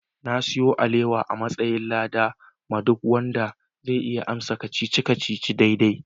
Na sayo alewa a'matsayin lada ma duk wanda zai iya amsa kacici-kacici na daidai.